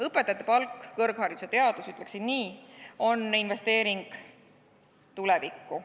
Õpetajate palk, kõrgharidus ja teadus, ütleksin nii, on investeering tulevikku.